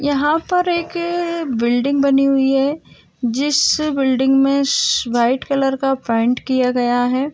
यहाँ पर एक बिल्डिंग बनी हुई है जिस बिल्डिंग में वाइट कलर का पेंट किया गया है।